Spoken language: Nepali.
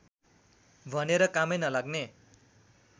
भनेर कामै नलाग्ने